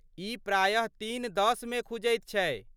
ई प्रायः तीन दश मे खुजैत छै।